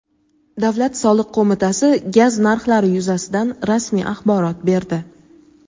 Davlat soliq qo‘mitasi gaz narxlari yuzasidan rasmiy axborot berdi.